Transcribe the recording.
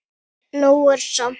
Nóg er samt.